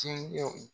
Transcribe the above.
Tiɲɛw